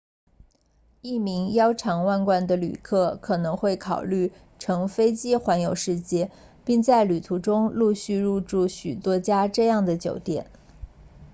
一名腰缠万贯的旅客可能会考虑乘飞机环游世界并在旅途中陆续入住许多家这样的酒店